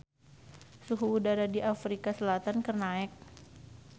Suhu udara di Afrika Selatan keur naek